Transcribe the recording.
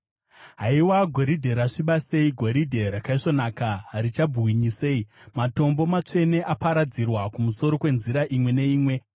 Haiwa, goridhe rasviba sei, goridhe rakaisvonaka harichabwinyi sei! Matombo matsvene aparadzirwa kumusoro kwenzira imwe neimwe.